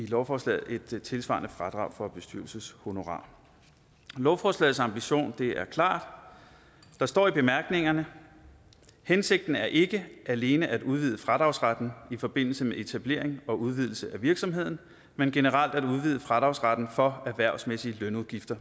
lovforslaget give et tilsvarende fradrag for bestyrelseshonorarer lovforslagets ambition er klar der står i bemærkningerne hensigten er ikke alene at udvide fradragsretten i forbindelse med etablering og udvidelse af virksomheden men generelt at udvide fradragsretten for erhvervsmæssige lønudgifter